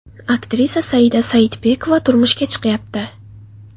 Aktrisa Saida Saidbekova turmushga chiqyapti.